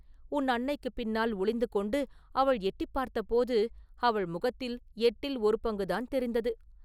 உன் அன்னைக்குப் பின்னால் ஒளிந்து கொண்டு அவள் எட்டிப் பார்த்தபோது அவள் முகத்தில் எட்டில் ஒரு பங்குதான் தெரிந்தது!